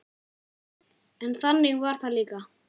En þannig var það líka.